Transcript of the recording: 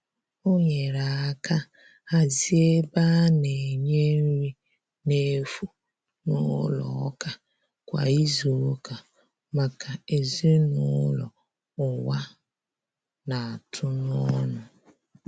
O nyere aka hazie ebe a na-enye nri na efu n'ụlọ ụka kwa izuụka maka ezinụlọ ụwa na-atụ n'ọnụ.